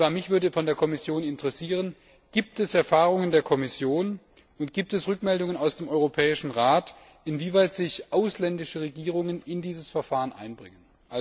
Mich würde von der Kommission interessieren Gibt es Erfahrungen der Kommission und gibt es Rückmeldungen aus dem Europäischen Rat, inwieweit sich ausländische Regierungen in dieses Verfahren einbringen?